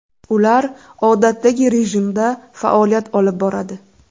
Ular odatdagi rejimda faoliyat olib boradi.